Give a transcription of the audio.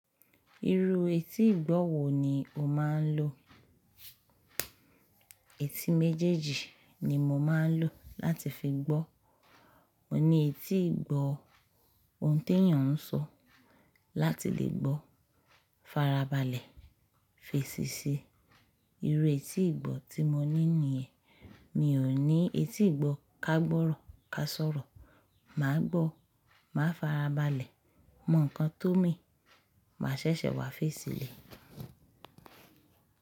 Irú etí ìgbọ́ wo ni o máa ń lò? Etí méjèèjì ni mo máa ń lò láti fi gbọ́. Mo ní etí ìgbọ́ ohun tí ènìyàn ń sọ láti lè gbọ́, farabalẹ̀, fèsì sí i. Irú etí ìgbọ́ tí mo ní nìyẹn. Mi ò ní etí ìgbọ́ kágbọ́rọ káṣọ̀rọ̀. Màá gbọ́, màá farabalẹ̀, mọ̀ ǹkan tó mean, màá ṣẹ̀ṣẹ̀ wá fèsì lè.